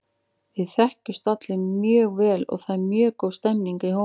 Við þekkjumst allir mjög vel og það er mjög góð stemning í hópnum.